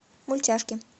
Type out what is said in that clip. мультяшки